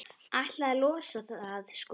Ætlaði að losa það, sko.